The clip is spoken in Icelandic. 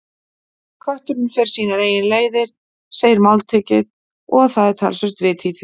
Kötturinn fer sínar eigin leiðir, segir máltækið, og það er talsvert til í því.